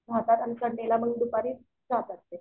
येतात आणि मग संडेला दुपारी जातात मग ते.